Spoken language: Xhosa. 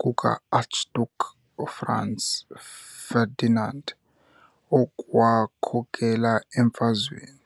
kukaArchduke uFranz Ferdinand, okwakhokela emfazweni.